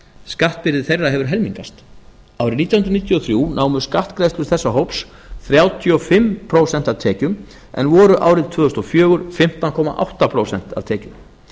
skattbyrði þeirra hefur helmingast árið nítján hundruð níutíu og þrjú námu skattgreiðslur þessa hóps þrjátíu og fimm prósent af tekjum en voru árið tvö þúsund og fjögur fimmtán komma átta prósent af tekjum